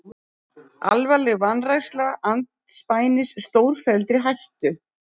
Alvarleg vanræksla andspænis stórfelldri hættu